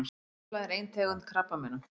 Hvítblæði er ein tegund krabbameina.